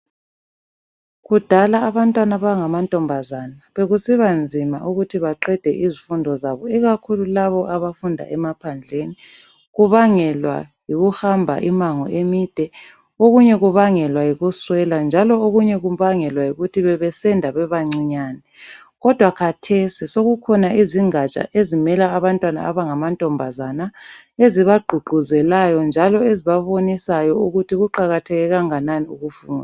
Kudala abantwana abangama ntombazane bekusiba nzima ukuthi baqede izifundo zabo ikakhulu laba abafunda emaphandleni kubangelwa yikuhamba imango emide okunye kubangelwa yikuswela njalo okunye kubangelwa yikuthi bebesenda beba ncinyane kodwa kathesi sokukhona izingaja ezimela abantwana abangama ntombazana eziba gqugquzelayo njalo ezibabonisayo ukuthi kuqakatheke kangakanani ukufunda.